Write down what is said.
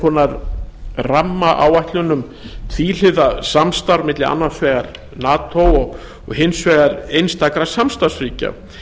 konar rammaáætlun um tvíhliða samstarf milli annars vegar nato og hins vegar einstakra samstarfsríkja